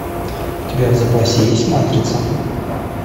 у тебя в запасе есть матрица